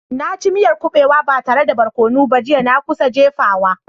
Na ci miyar kubewa ba tare da barkono ba jiya, na kusa jefawa.